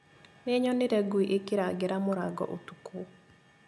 Nĩnyonire ngui ĩkĩrangĩra mũrango ũtukũ